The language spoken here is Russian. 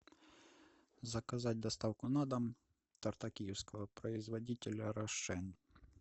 заказать доставку на дом торта киевского производителя рошен